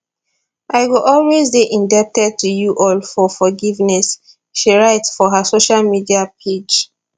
i go always dey indebted to you all for forgiveness she write for her social media page